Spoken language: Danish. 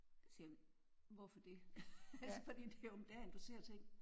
Så siger jeg: Hvorfor det? Altså fordi det er jo om dagen du ser ting